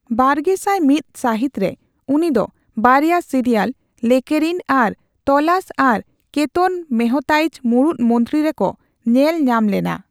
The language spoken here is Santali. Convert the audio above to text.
ᱵᱟᱨᱜᱮᱥᱟᱭ ᱢᱤᱛ ᱥᱟᱹᱦᱤᱛ ᱨᱮ, ᱩᱱᱤ ᱫᱚ ᱵᱟᱨᱭᱟ ᱥᱤᱨᱤᱭᱟᱞ, ᱞᱮᱠᱮᱨᱤᱱ ᱟᱨ ᱛᱚᱞᱟᱥ ᱟᱨ ᱠᱮᱛᱚᱱ ᱢᱮᱦᱛᱟᱭᱤᱡᱽ ᱢᱩᱲᱩᱫ ᱢᱚᱱᱛᱨᱤ ᱨᱮᱠᱚ ᱧᱮᱞ ᱧᱟᱢ ᱞᱮᱱᱟ ᱾